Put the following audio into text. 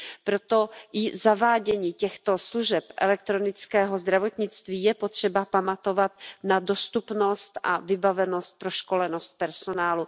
Proto i při zavádění těchto služeb elektronického zdravotnictví je potřeba pamatovat na dostupnost a vybavenost a proškolenost personálu.